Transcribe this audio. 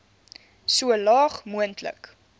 so laag moontlik